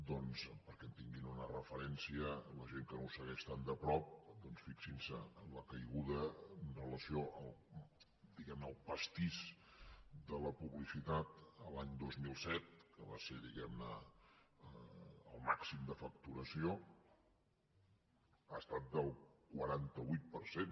doncs perquè en tinguin una referència la gent que no ho segueix tan de prop fixin se en la caiguda amb relació diguem ne al pastís de la publicitat l’any dos mil set que va ser diguem ne el màxim de facturació ha estat del quaranta vuit per cent